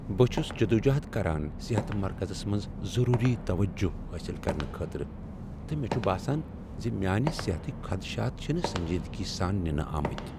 بہٕ چھس جدوجہد کران صحت مرکزس منٛز ضروری توجہ حٲصل کرنہٕ خٲطرٕ، تہٕ مےٚ چھ باسان ز میٛانہ صحتٕکۍ خدشات چھنہٕ سنجیدگی سان ننہٕ آمٕتۍ۔